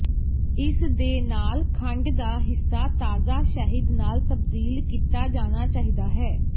ਇਸ ਦੇ ਨਾਲ ਖੰਡ ਦਾ ਹਿੱਸਾ ਤਾਜ਼ਾ ਸ਼ਹਿਦ ਨਾਲ ਤਬਦੀਲ ਕੀਤਾ ਜਾਣਾ ਚਾਹੀਦਾ ਹੈ